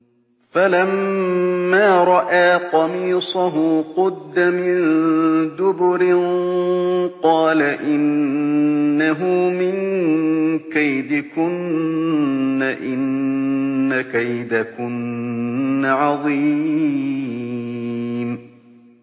فَلَمَّا رَأَىٰ قَمِيصَهُ قُدَّ مِن دُبُرٍ قَالَ إِنَّهُ مِن كَيْدِكُنَّ ۖ إِنَّ كَيْدَكُنَّ عَظِيمٌ